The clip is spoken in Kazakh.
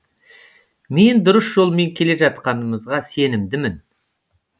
мен дұрыс жолмен келе жатқанымызға сенімдімін